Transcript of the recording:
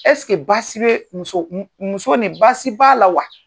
baasi bee muso m muso nin baasi b'a la wa?